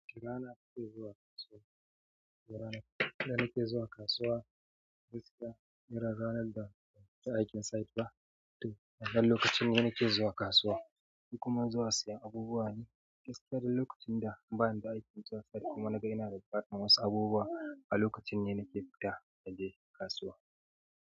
Rana ke zuwa kasuwa. Rana ɗa na ke zuwa kasuwa. Gaskiya irin ranar da ban fita aikin site ba. Toh, wannan lokacin ne na ke zuwa kasuwa kuma zuwa siyan abubuwa ne. Gaskiya don lokacin da ban da aikin zuwa site kuma naga ina da ɓikatan wasu abubuwa a lokacin ne nake fita na je kasuwa.